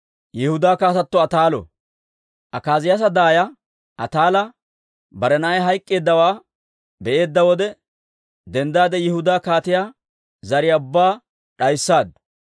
Akaaziyaasa daaya Ataala bare na'ay hayk'k'eeddawaa be'eedda wode, denddaade Yihudaa kaatiyaa zariyaa ubbaa d'ayssaaddu.